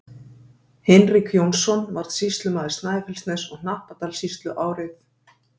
Hinrik Jónsson varð sýslumaður Snæfellsness- og Hnappadalssýslu árið